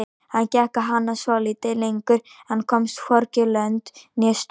Hann gekk á hana svolítið lengur en komst hvorki lönd né strönd.